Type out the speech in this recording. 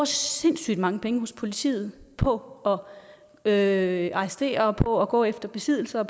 sindssygt mange penge hos politiet på at arrestere og på at gå efter besiddelse og